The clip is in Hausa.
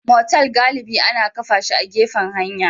Motal galibi ana kafa shi a gefen hanya